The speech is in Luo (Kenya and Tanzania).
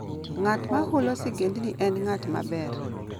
Ng'at ma hulo sigendni en ng'at maber.